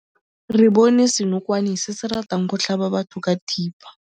Re bone senokwane se se ratang go tlhaba batho ka thipa.